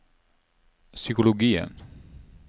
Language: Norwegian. psykologien